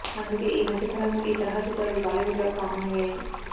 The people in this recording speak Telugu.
అందుకే ఈ మధ్య కాలంలో ఈ తరహా చిత్రాలు బాలీవుడ్లో కామన్ అయ్యాయి